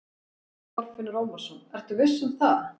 Þorfinnur Ómarsson: Ertu viss um það?